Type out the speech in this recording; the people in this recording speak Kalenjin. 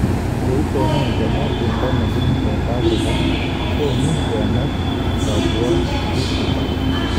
Koitonon Kenya bendo nebunu Sauthafrika konu kener kabwotutik